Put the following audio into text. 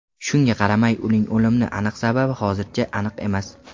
Shunga qaramay uning o‘limni aniq sababi hozircha aniq emas.